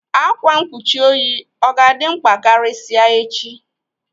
Ákwá mkpuchi oyi ọ ga-dị mkpa karịsịa echi?